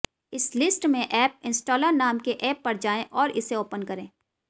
इस लिस्ट में app installer नाम के ऐप पर जाएं और इसे ऑपन करें